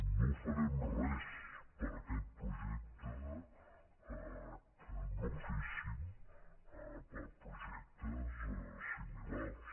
no farem res per aquest projecte que no féssim per projectes similars